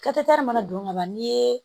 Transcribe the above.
mana don ka ban n'i ye